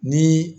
Ni